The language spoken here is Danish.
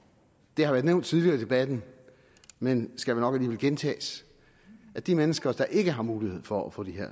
det har været nævnt tidligere i debatten men skal vel nok alligevel gentages at de mennesker der ikke har mulighed for at få de